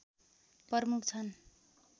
प्रमुख छन्